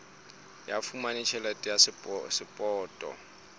ho fumana tjhelete ya sapoto